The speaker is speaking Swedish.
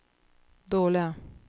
dåliga